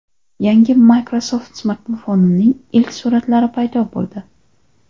Yangi Microsoft smartfonining ilk suratlari paydo bo‘ldi .